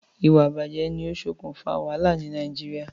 Ìwà ìbàjé ni o sokùn fa wàhálà ni Naijiria